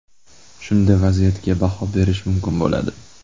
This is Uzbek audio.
Shunda vaziyatga baho berish mumkin bo‘ladi.